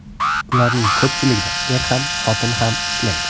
Ularning ko‘pchiligida er ham, xotin ham ishlaydi.